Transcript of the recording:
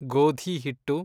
ಗೋಧಿ ಹಿಟ್ಟು